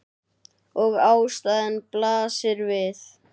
Og ástæðan blasir við.